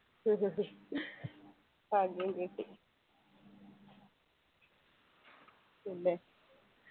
പിന്നെ